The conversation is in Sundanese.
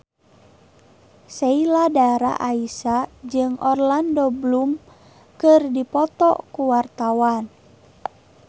Sheila Dara Aisha jeung Orlando Bloom keur dipoto ku wartawan